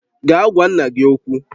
Gaa gwa nna gị okwu